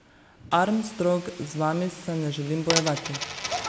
Armstrong, z vami se ne želim bojevati.